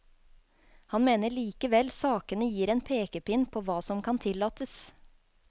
Han mener likevel sakene gir en pekepinn på hva som kan tillates.